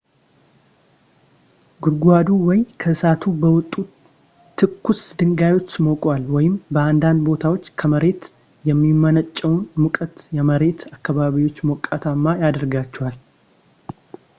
ጉድጓዱ ወይ ከእሳቱ በወጡ ትኩስ ድንጋዮች ሞቋል ወይም በአንዳንድ ቦታዎች ከመሬት የሚመነጨው ሙቀት የመሬቱን አካባቢዎች ሞቃታማ ያደርጋቸዋል